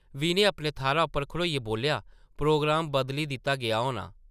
विनय अपने थाह्रा उप्परा खड़ोइयै बोल्लेआ, प्रोग्राम बदली दित्ता गेआ होना ।